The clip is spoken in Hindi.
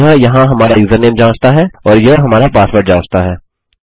यह यहाँ हमारा यूजरनेम जाँचता है और यह हमारा पासवर्ड जाँचता है